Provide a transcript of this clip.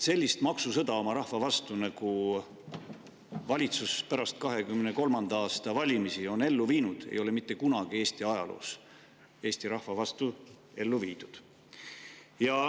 Sellist maksusõda oma rahva vastu, nagu valitsus pärast 2023. aasta valimisi on ellu viinud, ei ole mitte kunagi Eesti ajaloos Eesti rahva vastu ellu viidud.